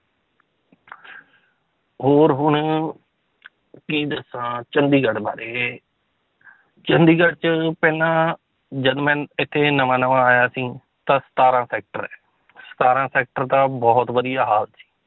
ਹੋਰ ਹੁਣ ਕੀ ਦੱਸਾਂ ਚੰਡੀਗੜ੍ਹ ਬਾਰੇ ਚੰਡੀਗੜ੍ਹ 'ਚ ਪਹਿਲਾਂ ਜਦ ਮੈਂ ਇੱਥੇ ਨਵਾਂ ਨਵਾਂ ਆਇਆ ਸੀ ਤਾਂ ਸਤਾਰਾਂ sector ਹੈ ਸਤਾਰਾਂ sector ਦਾ ਬਹੁਤ ਵਧੀਆ ਹਾਲ ਸੀ